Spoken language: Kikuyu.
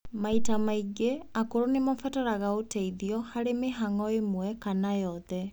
Maita maingĩ, akũrũ nĩmabataraga uteithio harĩ mĩhang'o ĩmwe kana yothe